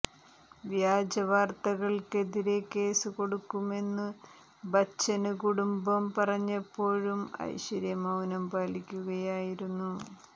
വ്യാജ വാര്ത്തകള്ക്കെതിരേ കേസു കൊടുക്കുമെന്ന് ബച്ചന് കുടുംബം പറഞ്ഞപ്പോഴും ഐശ്വര്യ മൌനം പാലിക്കുകയായിരുന്നു